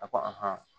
A ko